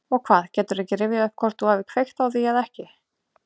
Og hvað, geturðu ekki rifjað upp hvort þú hafir kveikt á því eða ekki?